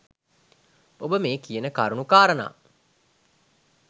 ඔබ මේ කියන කරුණු කාරණා